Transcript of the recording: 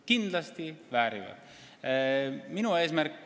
Kindlasti väärivad!